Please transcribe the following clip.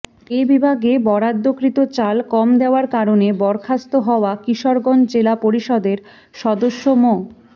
এ বিভাগে বরাদ্দকৃত চাল কম দেওয়ার কারণে বরখাস্ত হওয়া কিশোরগঞ্জ জেলা পরিষদের সদস্য মো